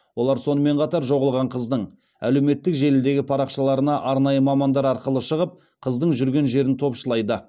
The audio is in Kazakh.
олар сонымен қатар жоғалған қыздың әлеуметтік желідегі парақшаларына арнайы мамандар арқылы шығып қыздың жүрген жерін топшылайды